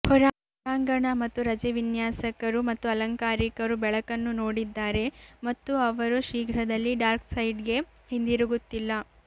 ಹೊರಾಂಗಣ ಮತ್ತು ರಜೆ ವಿನ್ಯಾಸಕರು ಮತ್ತು ಅಲಂಕಾರಿಕರು ಬೆಳಕನ್ನು ನೋಡಿದ್ದಾರೆ ಮತ್ತು ಅವರು ಶೀಘ್ರದಲ್ಲೇ ಡಾರ್ಕ್ ಸೈಡ್ಗೆ ಹಿಂದಿರುಗುತ್ತಿಲ್ಲ